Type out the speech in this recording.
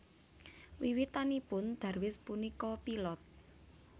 Wiwitanipun Darwis punika pilot